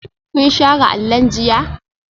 Kun share allon jiya?